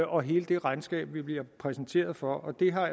og hele det regnskab vi bliver præsenteret for og det har